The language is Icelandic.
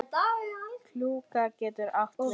Klúka getur átt við